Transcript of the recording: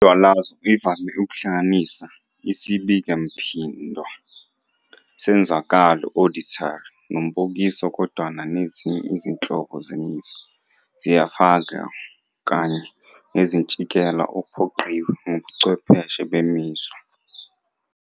Indwalazo ivame ukuhlanganisa isibikemphinda senzwakalo "auditory" nombukiso, kodwana nezinye izinhlobo zemizwa ziyafakwa kanye nomazinkintshela ophoqiwe ngobuchwepheshe bemizwa.